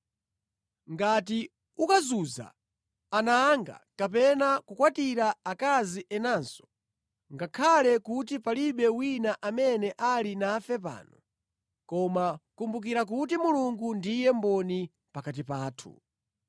Ngati ukazunza ana anga kapena kukwatira akazi enanso, ngakhale kuti palibe wina amene ali nafe pano, koma kumbukira kuti Mulungu ndiye mboni pakati pathu.”